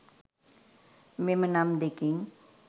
මෙම නම් දෙකෙන්